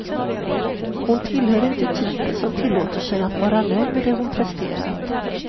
Hon tillhör inte typen som tillåter sig att vara nöjd med det hon presterat.